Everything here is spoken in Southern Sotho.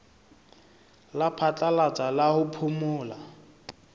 la phatlalatsa la ho phomola